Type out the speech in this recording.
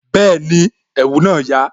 Bẹẹni, ẹ̀wù na ya